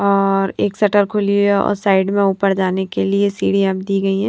और एक शटर खुली है और साइड में ऊपर जाने के लिए सीढ़ियाँ दी गई हैं।